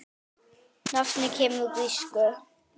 Nafnið kemur úr grísku